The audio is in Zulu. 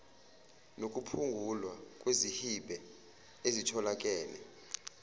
nokuphungulwa kwezihibe ezitholakele